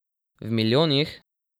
V milijonih?